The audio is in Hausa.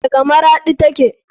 Daga maraɗi take.